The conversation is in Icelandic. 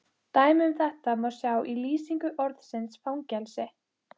Dæmi um þetta má sjá í lýsingu orðsins fangelsi